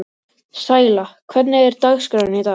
Sæla, hvernig er dagskráin í dag?